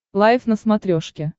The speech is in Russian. лайф на смотрешке